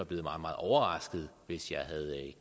blevet meget meget overrasket hvis jeg havde